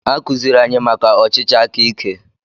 Akuziere anyị maka ọchịchị akaike.